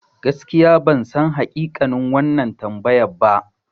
Gaskiya bansan hakikanin wannan tambayan ba.